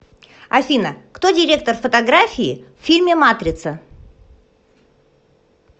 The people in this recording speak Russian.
афина кто директор фотографии в фильме матрица